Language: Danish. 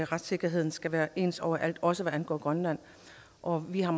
retssikkerheden skal være ens overalt også når det angår grønland og vi har